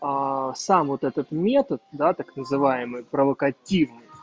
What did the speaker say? сам вот этот метод да так называемые провокативный